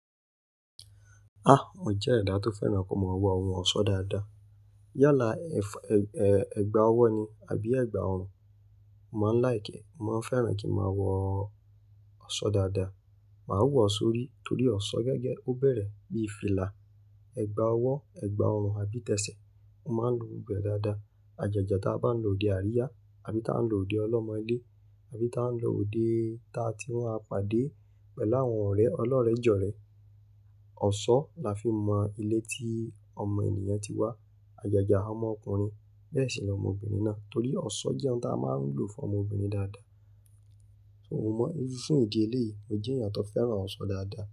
Mo jẹ́ ẹ̀dá tó fẹ́ràn kí mo máa wo ohùn ọsọ dáadáa. Yálà ẹ̀gba owó ni àbí ẹ̀gba ọrùn, mo máa ń like, mo máa ń fẹ́ràn kí máa wo ọ̀ṣọ́ dáadáa. Màá wọ̀ ọ́ sórí torí ọ̀ṣọ́ gẹ́gẹ́ ó bẹ̀rẹ̀ bí i fìlà, ẹ̀gba owó, ẹ̀gba ọrùn àbí tẹsẹ̀, ó máa ń lo gbogbo e dáadáa. Àjàjà tí a bá ń lò odé àríyá àbí tí a ń lò odé ọlọ́mọilé àbí tí a ń lò odé tá tí máa á pàdé pẹ̀lú àwọn ọ̀rẹ́ ọlọ́rẹ̀jọ̀rẹ̀. Ọ̀ṣọ́ la fi mọ ilé tí ọmọ ènìyàn ti wá. Àjàjà ọmọ ọkùnrin bẹ́ẹ̀ sì ni ọmọbìnrin náà torí ọ̀ṣọ́ jẹ́ ohun tí a máa ń lò fún ọmọbìnrin dáadáa. O mọ̀, ní ṣin ìdí eléyìí, mo jẹ́ èèyàn tó fẹ́ràn ọ̀ṣan dáadáa.